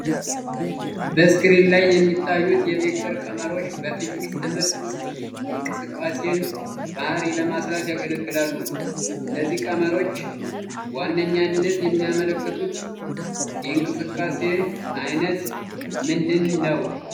ስክሪን ላይ የሚታዩት የቬክተር ቀመሮች በፊዚክስ ትምህርት ውስጥ የእንቅስቃሴን ባህሪ ለማስላት ያገለግላሉ። እነዚህ ቀመሮች በዋነኛነት የሚመለከቱት የእንቅስቃሴ አይነት ምንድን ነው?